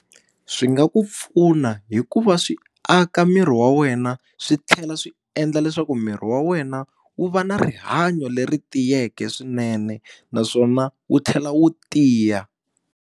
Swi nga ku pfuna hikuva swi aka miri wa wena swi tlhela swi endla leswaku miri wa wena wu va na rihanyo leri tiyeke swinene naswona wu tlhela wu tiya.